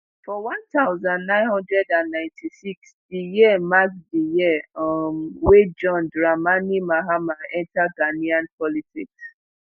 for one thousand, nine hundred and ninety-six di year mark di year um wey john dramani mahama enta ghanaian politics